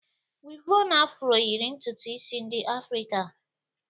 Wịvọn Afro yịrị ntutu isi ndị Afrịka